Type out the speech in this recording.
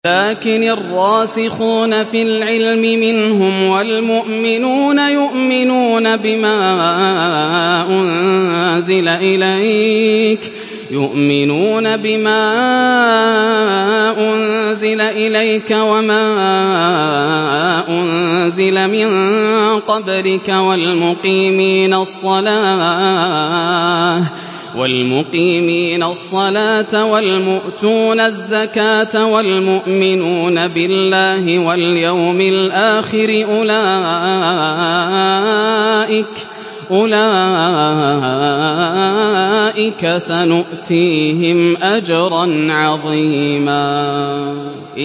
لَّٰكِنِ الرَّاسِخُونَ فِي الْعِلْمِ مِنْهُمْ وَالْمُؤْمِنُونَ يُؤْمِنُونَ بِمَا أُنزِلَ إِلَيْكَ وَمَا أُنزِلَ مِن قَبْلِكَ ۚ وَالْمُقِيمِينَ الصَّلَاةَ ۚ وَالْمُؤْتُونَ الزَّكَاةَ وَالْمُؤْمِنُونَ بِاللَّهِ وَالْيَوْمِ الْآخِرِ أُولَٰئِكَ سَنُؤْتِيهِمْ أَجْرًا عَظِيمًا